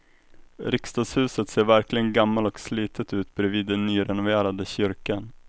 Riksdagshuset ser verkligen gammalt och slitet ut bredvid den nyrenoverade kyrkan.